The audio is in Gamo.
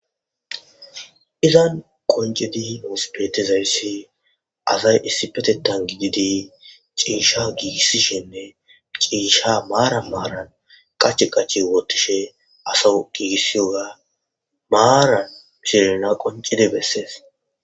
izan qoncedi nosbetezayssi azay issi petettan gididi ciisha giigissishinne ciisha maara maaran qach qachi wotishe asa giigissi oya maara mishelena qoncide bessees